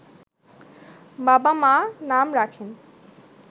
বাবা-মা নাম রাখেন